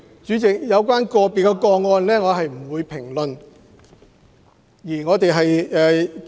主席，關於個別個案，我不會作出評論。